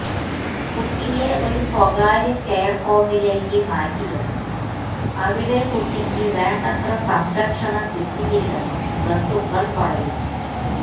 കുട്ടിയെ ഒരു സ്വകാര്യ കെയർ ഹോമിലേയ്ക്ക് മാറ്റിയെന്നും അവിടെ കുട്ടിക്ക് വേണ്ടത്ര സംരക്ഷണം കിട്ടിയില്ലെന്നും ബന്ധുക്കൾ പറയുന്നു